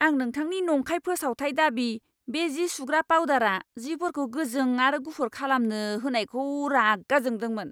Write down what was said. आं नोंथांनि नंखाय फोसावथाय दाबि, बे जि सुग्रा पाउदारआ जिफोरखौ गोजों आरो गुफुर खालामो होननायखौ रागा जोंदोंमोन!